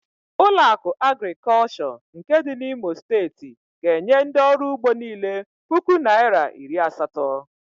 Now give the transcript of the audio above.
Ụlọakụ Agrịkọlshọ nke dị n'Imo Steeti ga-enye ndị ọrụugbo niile puku naịra iri asatọ.